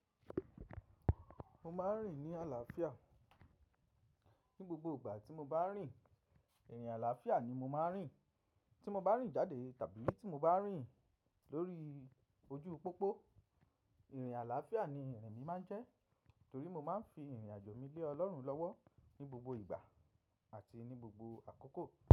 Mo máà ń rìn ní àlàáfíà. Ni gbogbo ìgbà tí mo bá ń rìn, ìrìn àlàáfíà ni mo máa ń rìn. Tí mo bá rìn jáde tàbí tí mo bá rìn lórí ojú pópó, ìrìn àlàáfíà ni ìrìn mi máa ń jẹ́ torí mo máa ń fi ìrìn àjò mi lé Ọlọ́run lọ́wọ́ ní gbogbo ìgbà àti ní gbogbo àkókò.